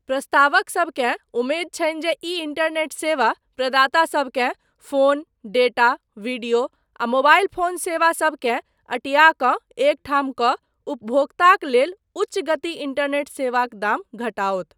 प्रस्तावकसबकेँ उमेद छनि जे ई इंटरनेट सेवा प्रदातासबकेँ फोन, डेटा, वीडियो आ मोबाइल फोन सेवा सबकेँ अँटिया कऽ एक ठाम कऽ उपभोक्ताक लेल उच्च गति इंटरनेट सेवाक दाम घटाओत।